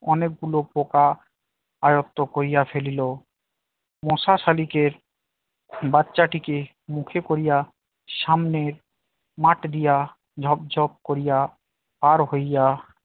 অনেকগুলো পোকা আয়ত্ব করিয়া ফেলল অনেকগুলো পোকা আয়ত্ত করিয়া ফেলিল । মশা শালিকের বাচ্চাটিকে মুখে করিয়া সামনের মাঠ দিয়া ঝপঝপ করিয়া পার হইয়া